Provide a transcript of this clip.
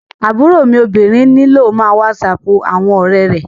Aburo mi obinrin nilo má whatsap awọn ọrẹ rẹ